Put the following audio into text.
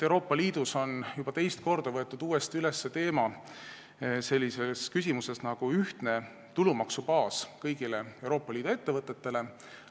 Euroopa Liidus on juba teist korda võetud üles selline teema nagu kõigi Euroopa Liidu ettevõtete ühtne tulumaksubaas.